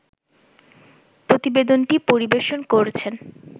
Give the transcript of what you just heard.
প্রতিবেদনটি পরিবেশন করছেন